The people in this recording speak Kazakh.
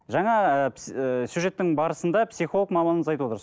жаңа ы ыыы сюжеттің барысында психолог маманымыз айтып отыр